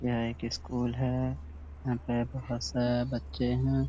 यह एक स्कूल है। यहाँ पे बहुत से बच्चे हैं।